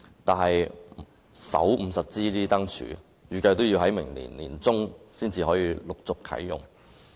但是，首50支燈柱預計要待明年年中才能陸續啟用。